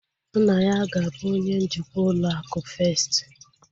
Nna ya ga-abu onye njikwa ụlọ akụ festi